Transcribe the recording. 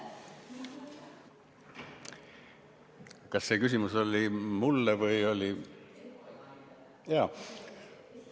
Kas see küsimus oli mulle või?